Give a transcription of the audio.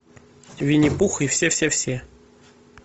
винни пух и все все все